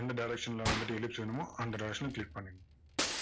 எந்த direction ல வந்துட்டு ellipse வேணுமோ அந்த direction ல click பண்ணுங்க